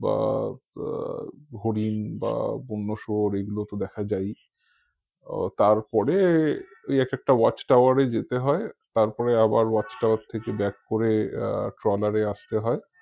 বা আহ হরিণ বা বন্যা শুয়োর এইগুলো তো দেখা যায়ই আহ তার পরে ঐ একেকটা watch tower এই যেতে হয় তারপরে আবার watch tower থেকে back করে আহ ট্রলার এ আসতে হয়